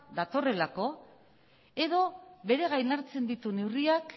datorrelako edo bere gain hartzen ditu neurriak